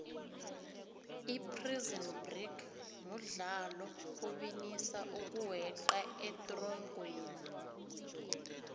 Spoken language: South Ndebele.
iprison break mudlalo obinisa ukuweqa etronqweni